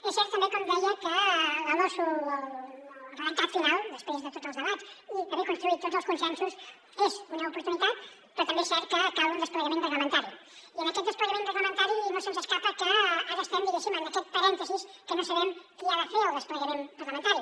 és cert també com deia que la losu o el redactat final després de tots els debats i d’haver construït tots els consensos és una oportunitat però també és cert que cal un desplegament reglamentari i en aquest desplegament reglamentari no se’ns escapa que ara estem diguéssim en aquest parèntesi que no sabem qui ha de fer el desplegament parlamentari